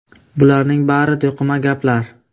Bularning bari to‘qima gaplar.